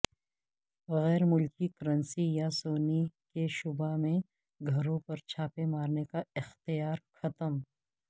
غیر ملکی کرنسی یا سونے کے شبہ میں گھروں پر چھاپے مارنے کا اختیار ختم